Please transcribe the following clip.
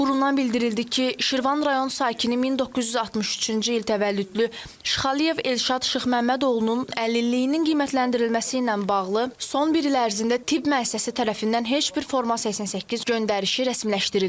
Qurumdan bildirildi ki, Şirvan rayon sakini 1963-cü il təvəllüdlü Şıxəliyev Elşad Şıxməmməd oğlunun əlilliyinin qiymətləndirilməsi ilə bağlı son bir il ərzində tibb müəssisəsi tərəfindən heç bir forma 88 göndərişi rəsmiləşdirilməyib.